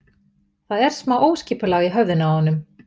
Það er smá óskipulag í höfðinu á honum.